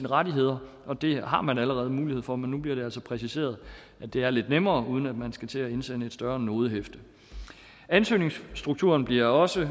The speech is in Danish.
rettigheder og det har man allerede mulighed for men nu bliver det altså præciseret at det er lidt nemmere uden at man skal til at indsende et større nodehæfte ansøgningsstrukturen bliver også